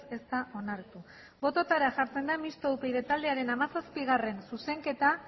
ez da onartu bototara jartzen da mistoa upyd taldearen hamazazpigarrena zuzenketa